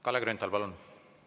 Kalle Grünthal, palun!